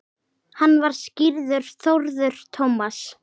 Hann var skírður Þórður Tómas.